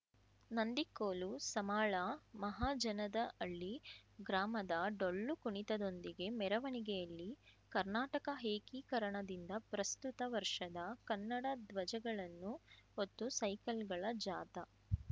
ನಂದಿಕೋಲು ಸಮಾಳ ಮಹಜನದಹಳ್ಳಿ ಗ್ರಾಮದ ಡೊಳ್ಳು ಕುಣಿತದೊಂದಿಗೆ ಮೆರವಣಿಗೆಯಲ್ಲಿ ಕರ್ನಾಟಕ ಏಕೀಕರಣದಿಂದ ಪ್ರಸ್ತುತ ವರ್ಷದ ಕನ್ನಡ ದ್ವಜಗಳನ್ನು ಹೊತ್ತು ಸೈಕಲ್‌ಗಳ ಜಾಥಾ